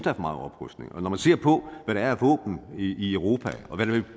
er for meget oprustning når man ser på hvad der er af våben i europa og hvad der